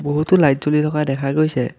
বহুতো লাইট জ্বলি থকা দেখা গৈছে।